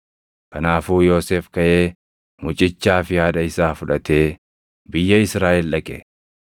Kanaafuu Yoosef kaʼee mucichaa fi haadha isaa fudhatee biyya Israaʼel dhaqe.